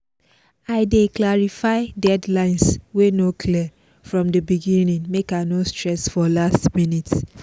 i dey clarify deadlines wey no clear from the beginning make i no stress for last minutes